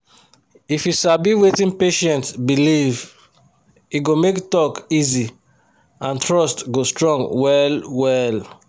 if you sabi wetin patient believe e go make talk easy and trust go strong well well.